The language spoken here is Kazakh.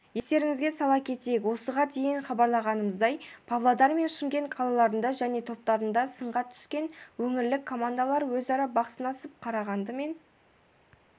естеріңізге сала кетейік осыған дейін хабарлағанымыздай павлодар мен шымкент қалаларында және топтарында сынға түскен өңірлік командалар өзара бақ сынасып қарағанды мен